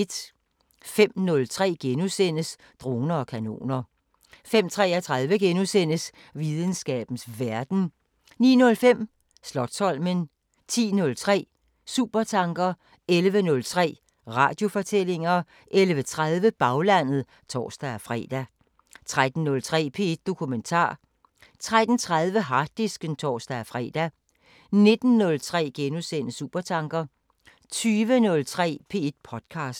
05:03: Droner og kanoner * 05:33: Videnskabens Verden * 09:05: Slotsholmen 10:03: Supertanker 11:03: Radiofortællinger 11:30: Baglandet (tor-fre) 13:03: P1 Dokumentar 13:30: Harddisken (tor-fre) 19:03: Supertanker * 20:03: P1 podcaster